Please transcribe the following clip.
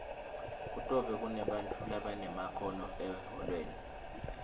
kutobe kunebantfu labanemakhono ehholweni